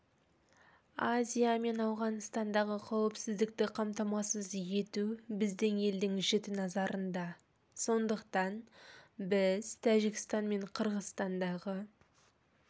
азия мен ауғанстандағы қауіпсіздікті қамтамасыз ету біздің елдің жіті назарында сондықтан біз тәжікстан мен қырғызстандағы